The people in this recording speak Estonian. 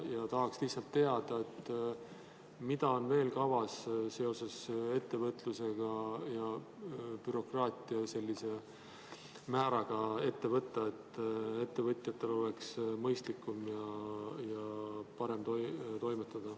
Tahaksin lihtsalt teada, mida on veel kavas seoses ettevõtluse ja bürokraatia määraga ette võtta, et ettevõtjatel oleks mõistlikum ja parem toimetada.